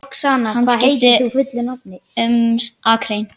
Hann skipti aftur um akrein.